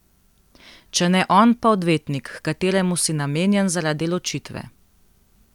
Če ne on, pa odvetnik, h kateremu si namenjen zaradi ločitve.